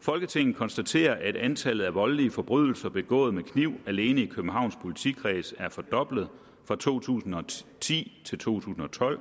folketinget konstaterer at antallet af voldelige forbrydelser begået med kniv alene i københavns politikreds er fordoblet fra to tusind og ti til to tusind og tolv